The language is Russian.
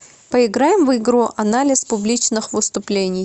поиграем в игру анализ публичных выступлений